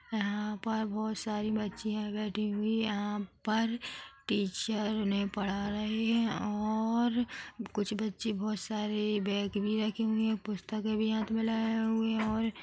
यहां पर बहुत सारी बच्चियां बैठी हुई है यहां पर टीचर उन्हें पढ़ा रहे है और कुछ बच्चे बहुत सारे बेग भी रखे हुए है पुस्तके भी हाथ मे लाए हुए है और--